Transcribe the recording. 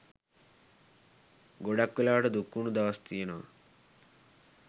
ගොඩක් වෙලාවට දුක්වුණු දවස් තියෙනවා.